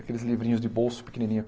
Aqueles livrinhos de bolso pequenininhos.